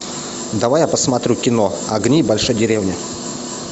давай я посмотрю кино огни большой деревни